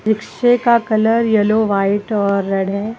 पीछे का colour yellow white और रेड है।